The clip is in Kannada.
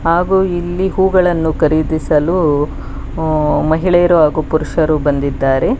ಹಾಗು ಇಲ್ಲಿ ಹೂಗಳನ್ನು ಖರೀದಿಸಲು ಊ ಮಹಿಳೆಯರು ಹಾಗು ಪುರುಷರು ಬಂದಿದ್ದಾರೆ.